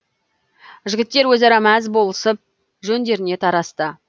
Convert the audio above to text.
жігіттер өзара мәз болысып жөндеріне тарасты